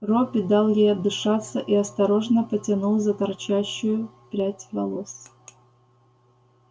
робби дал ей отдышаться и осторожно потянул за торчащую прядь волос